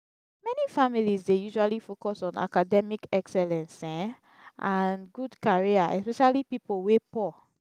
many families dey usually focus on academic excellence um and good career especially pipo wey poor